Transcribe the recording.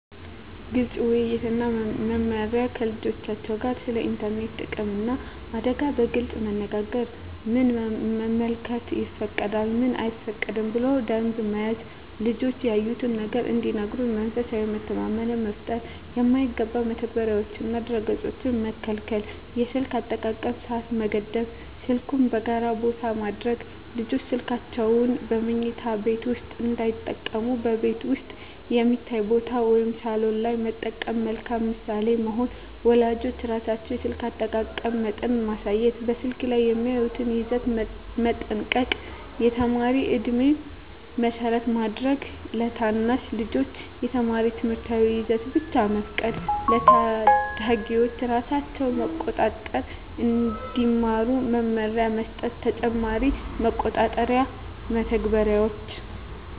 ግልፅ ውይይት እና መመሪያ ከልጆቻቸው ጋር ስለ ኢንተርኔት ጥቅምና አደጋ በግልፅ መነጋገር ምን መመልከት ይፈቀዳል፣ ምን አይፈቀድም ብሎ ደንብ መያዝ ልጆች ያዩትን ነገር እንዲነግሩ መንፈሳዊ መተማመን መፍጠር የማይገባ መተግበሪያዎችንና ድረ-ገፆችን መከልከል የስልክ አጠቃቀም ሰዓት መገደብ ስልኩን በጋራ ቦታ ማድረግ ልጆች ስልካቸውን በመኝታ ቤት ውስጥ እንዳይጠቀሙ በቤት ውስጥ የሚታይ ቦታ (ሳሎን) ላይ መጠቀም መልካም ምሳሌ መሆን ወላጆች ራሳቸው የስልክ አጠቃቀም መጠን ማሳየት በስልክ ላይ የሚያዩትን ይዘት መጠንቀቅ የተማሪ ዕድሜን መሰረት ማድረግ ለታናሽ ልጆች የተማሪ ትምህርታዊ ይዘት ብቻ መፍቀድ ለታዳጊዎች ራሳቸውን መቆጣጠር እንዲማሩ መመሪያ መስጠት ተጨማሪ መቆጣጠሪያ መተግበሪያዎች